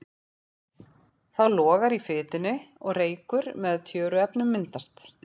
Þá logar í fitunni og reykur með tjöruefnum myndast.